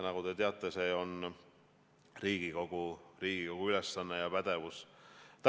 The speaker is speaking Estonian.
Nagu te teate, see on Riigikogu ülesanne ja pädevus.